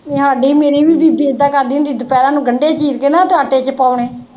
ਹਾਡੀ ਵੀ ਮੇਰੀ ਵੀ ਬੀਬੀ ਏਦਾਂ ਈ ਕਰਦੀ ਹੁੰਦੀ ਦੁਪਹਿਰਾ ਨੂੰ ਗੰਡੇ ਚੀਰ ਕੇ ਨਾ ਆਟੇ ਚ ਪਾਉਣੇ।